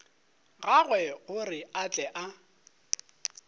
gagwe gore a tle a